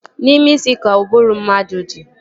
N'ime isi ka ụbụrụ mmadụ dị